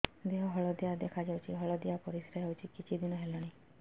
ଦେହ ହଳଦିଆ ଦେଖାଯାଉଛି ହଳଦିଆ ପରିଶ୍ରା ହେଉଛି କିଛିଦିନ ହେଲାଣି